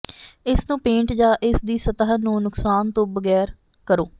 ਇਸ ਨੂੰ ਪੇਂਟ ਜਾਂ ਇਸ ਦੀ ਸਤ੍ਹਾ ਨੂੰ ਨੁਕਸਾਨ ਤੋਂ ਬਗੈਰ ਕਰੋ